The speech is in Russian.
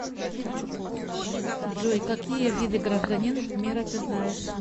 джой какие виды гражданин мира ты знаешь